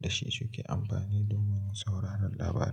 da shi suke amfani domin sauraron labarai.